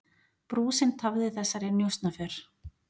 Brúsinn tafði þessari njósnaför.